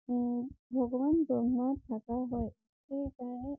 উম ভগৱান ব্ৰহ্মা থাকা হয়। সেই তাইহে